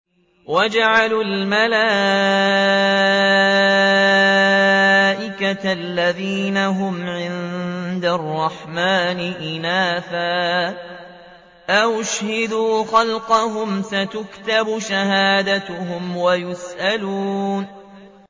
وَجَعَلُوا الْمَلَائِكَةَ الَّذِينَ هُمْ عِبَادُ الرَّحْمَٰنِ إِنَاثًا ۚ أَشَهِدُوا خَلْقَهُمْ ۚ سَتُكْتَبُ شَهَادَتُهُمْ وَيُسْأَلُونَ